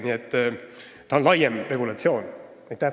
Nii et tegu on laiema regulatsiooniga.